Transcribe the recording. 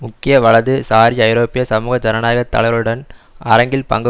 முக்கிய வலது சாரி ஐரோப்பிய சமூக ஜனநாயக தலைவர்களுடன் அரங்கில் பங்கு